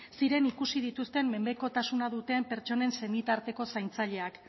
ziren ikusi dituzten mendekotasuna duten pertsonen senitarteko zaintzaileak